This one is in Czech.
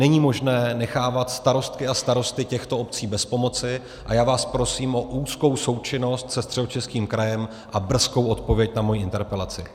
Není možné nechávat starostky a starosty těchto obcí bez pomoci a já vás prosím o úzkou součinnost se Středočeským krajem a brzkou odpověď na moji interpelaci.